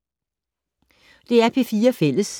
DR P4 Fælles